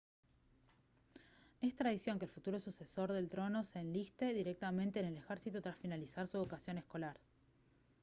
es tradición que el futuro sucesor del trono se enliste directamente en el ejército tras finalizar su educación escolar